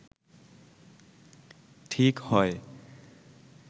ঠিক হয়